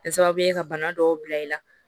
Kɛ sababu ye ka bana dɔw bila i la